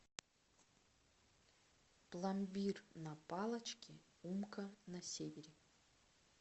пломбир на палочке умка на севере